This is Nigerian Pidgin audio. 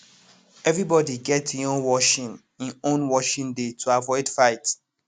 everybody get e own washing e own washing day to avoid fight